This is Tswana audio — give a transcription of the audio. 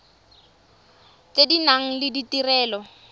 tse di nang le ditirelo